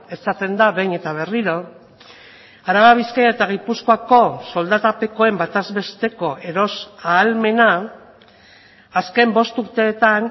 esaten da behin eta berriro araba bizkaia eta gipuzkoako soldatapekoen bataz besteko eros ahalmena azken bost urteetan